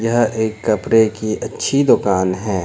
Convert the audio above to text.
यह एक कपड़े की अच्छी दुकान है।